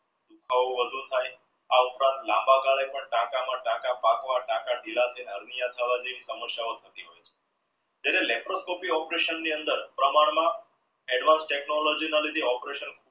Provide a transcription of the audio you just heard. દુખાવો વધુ થઈ આવતાજ લાંબા તને પણ ટકા માં ટકા પાકવા ટકા ઢીલા જ્યરહ laproscopy operation ની અંદર advance technology ના લીધે operation